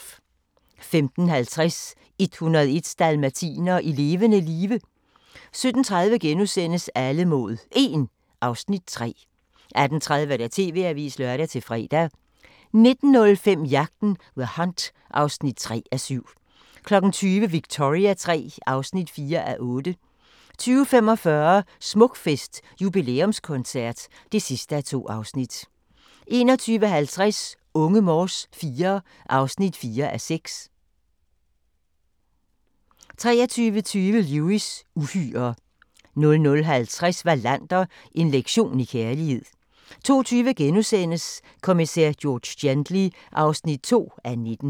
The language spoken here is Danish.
15:50: 101 dalmatinere i levende live 17:30: Alle mod 1 (Afs. 3)* 18:30: TV-avisen (lør-fre) 19:05: Jagten – The Hunt (3:7) 20:00: Victoria III (4:8) 20:45: Smukfest – jubilæumskoncert (2:2) 21:50: Unge Morse IV (4:6) 23:20: Lewis: Uhyrer 00:50: Wallander: En lektion i kærlighed 02:20: Kommissær George Gently (2:19)*